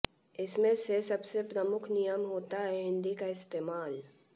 इसमें से सबसे प्रमुख नियम होता है हिंदी का इस्तेमाल